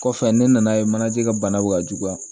Kɔfɛ ne nan'a ye manaje ka bana bɛ ka juguya